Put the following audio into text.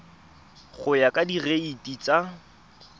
go ya ka direiti tsa